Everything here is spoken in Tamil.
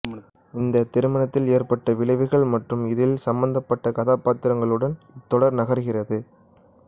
இந்த திருமணத்தில் ஏற்பட்ட விளைவுகள் மற்றும் இதில் சம்பந்தப்பட்ட கதாப்பாத்திரங்களுடன் இத்தொடர் நகர்கிறது